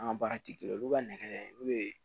An ka baara tɛ kelen ye olu ka nɛgɛ olu ye